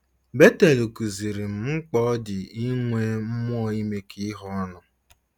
Betel kụziiri m mkpa ọ dị inwe mmụọ imekọ ihe ọnụ.